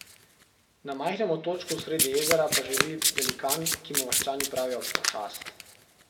Na majhnem otočku sredi jezera pa živi Velikan, ki mu vaščani pravijo Pošast.